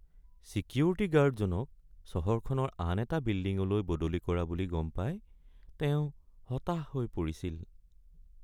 Security গাৰ্ডজনক চহৰখনৰ আন এটা বিল্ডিঙলৈ বদলি কৰা বুলি গম পাই তেওঁ হতাশ হৈ পৰিছিল।